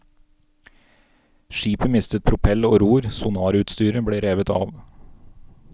Skipet mistet propell og ror, sonarutstyret ble revet av.